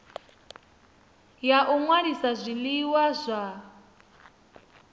ya u ṅwalisa zwiḽiwa zwa